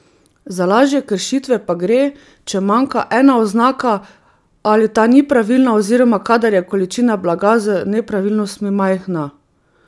Za lažje kršitve pa gre, če manjka ena oznaka ali ta ni pravilna oziroma kadar je količina blaga z nepravilnostmi majhna.